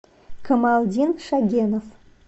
камалдин шагенов